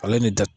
Ale ni da